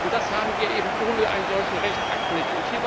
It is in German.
Das haben wir eben ohne einen solchen Rechtsakt nicht.